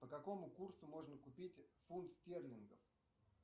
по какому курсу можно купить фунт стерлингов